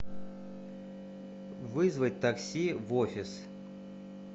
вызвать такси в офис